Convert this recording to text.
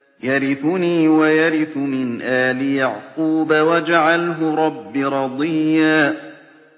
يَرِثُنِي وَيَرِثُ مِنْ آلِ يَعْقُوبَ ۖ وَاجْعَلْهُ رَبِّ رَضِيًّا